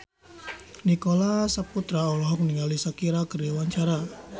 Nicholas Saputra olohok ningali Shakira keur diwawancara